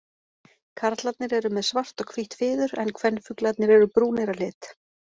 Karlarnir eru með svart og hvítt fiður en kvenfuglarnir eru brúnir að lit.